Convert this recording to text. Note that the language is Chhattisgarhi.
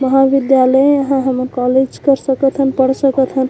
महाविद्याल यहाँँ हमन कॉलेज कर सकत हन पढ़ सकत हन।